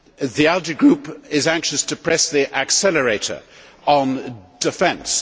The ALDE Group is anxious to press the accelerator on defence.